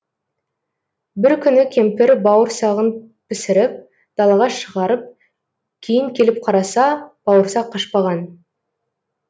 бір күні кемпір бауырсағын пісіріп далаға шығарып кейін келіп қараса бауырсақ қашпаған